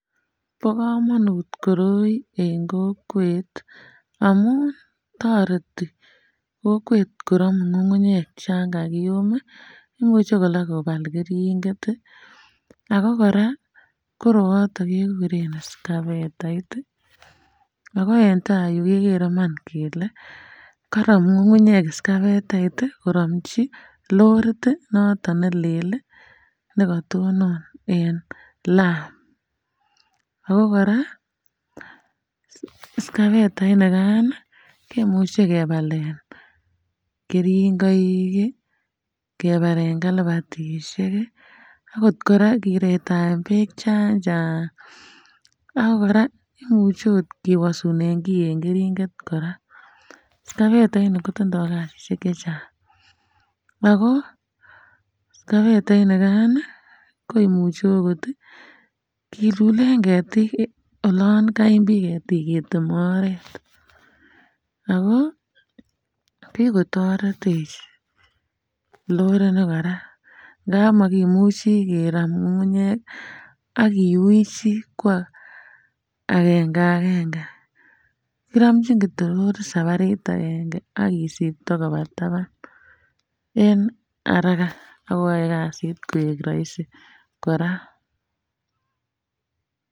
Bo komonut koroi en kokwet amun toreti kokwet koromu kung'unyek chankakiyum imuche koraaa kobal keringet ii ago koraa koroyoton kekuren skavetait ago entai iroyu kegere Iman kole karom ngungunyek skavetait koromchi lorit noton ne lel ne katonon en lam ago koraa um skavetait nikan ii kimuche kebalen keringoik kebalen kalbatishek akot koraa kiretaen beek chanchaang ago koraa imuche okot keboishen Kewasunen kii en keringet koraa, skavetait nii kotindo Kasishek chechaang ago skavetait nikan koimuche okot kilulen ketik oloon kaimbiik ketik keteme oret ago kikotoretech lorit ni koraa nda Yan makimuchi keram kung'unyek ak kiwichi kwa agenge agenge kiromchin kityo lorit sabatit agenge ak Kisibto koba taban en haraka ak koyai kazit koek rahisi koraa.